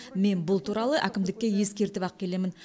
мен бұл туралы әкімдікке ескертіп ақ келемін